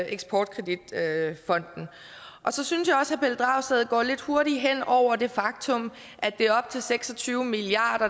eksportkredit så synes jeg også pelle dragsted går lidt hurtigt hen over det faktum at det er op til seks og tyve milliard